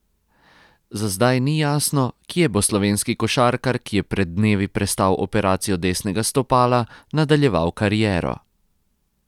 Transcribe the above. Za zdaj ni jasno, kje bo slovenski košarkar, ki je pred dnevi prestal operacijo desnega stopala, nadaljeval kariero.